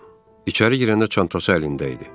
İçəri girəndə çantası əlində idi.